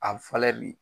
A bɛ falen bi